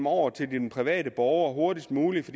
over til den private borger hurtigst muligt